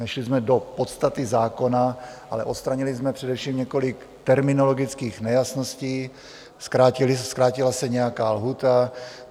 Nešli jsme do podstaty zákona, ale odstranili jsme především několik terminologických nejasností, zkrátila se nějaká lhůta.